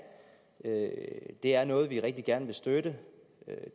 det er noget vi rigtig gerne vil støtte